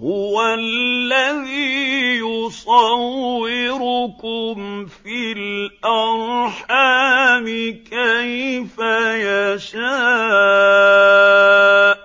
هُوَ الَّذِي يُصَوِّرُكُمْ فِي الْأَرْحَامِ كَيْفَ يَشَاءُ ۚ